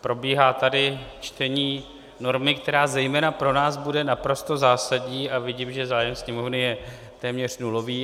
Probíhá tady čtení normy, která zejména pro nás bude naprosto zásadní, a vidím, že zájem Sněmovny je téměř nulový.